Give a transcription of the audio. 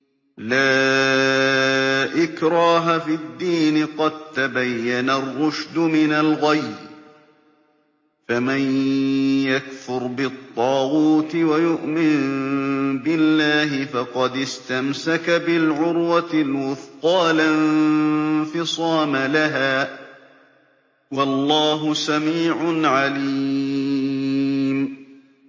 لَا إِكْرَاهَ فِي الدِّينِ ۖ قَد تَّبَيَّنَ الرُّشْدُ مِنَ الْغَيِّ ۚ فَمَن يَكْفُرْ بِالطَّاغُوتِ وَيُؤْمِن بِاللَّهِ فَقَدِ اسْتَمْسَكَ بِالْعُرْوَةِ الْوُثْقَىٰ لَا انفِصَامَ لَهَا ۗ وَاللَّهُ سَمِيعٌ عَلِيمٌ